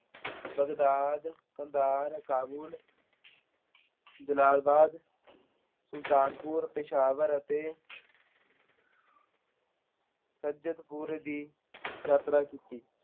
Baghdad, Kandahar, Kabul, Jalalabad, Sultanpur, Peshawar ਅਤੇ ਸੱਜਤਪੁਰ ਦੀ ਯਾਤਰਾ ਕੀਤੀ।